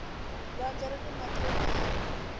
lwandle rini mati yo tala